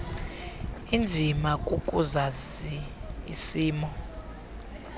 inzima kukuzazi isimo